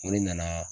Ko ne nana